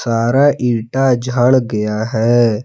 सारा इटा झड़ गया है।